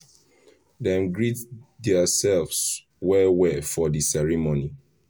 dem greet theirselves well well for the ceremony